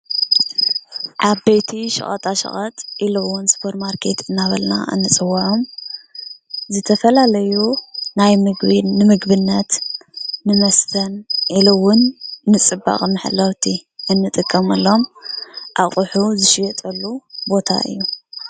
ዓበይቲ ሸቀጣሸቀጥ ኢሉ እውን ሱፐርማርኬት እንዳበልና እንፅወዖም ዝተፈላለዩ ናይ ምግቢ ንምግብነት፣ ንመስተ፣ ኢሉ እውን ንፅባቀ መሕለውቲ እንጥቀመሎም ኣቑሑ ዝሽየጠሉ ቦታ እዩ።